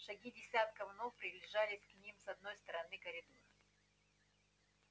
шаги десятков ног приближались к ним с одной стороны коридора